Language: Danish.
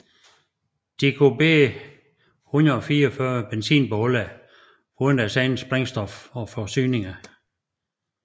De kunne hver bære 144 benzinbeholdere foruden deres eget brændstof og forsyninger